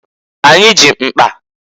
Anyị ji mkpa.